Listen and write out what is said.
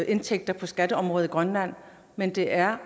indtægter på skatteområdet i grønland men det er